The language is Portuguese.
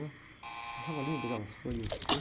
Eu achava lindas aquelas folhas, né?